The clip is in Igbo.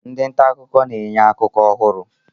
Ndị nta akụkọ na-enye akụkọ ọhụrụ.